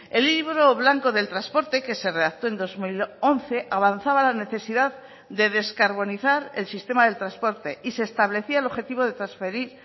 el libro blanco del transporte que se redactó en dos mil once avanzaba la necesidad de descarbonizar el sistema del transporte y se establecía el objetivo de transferir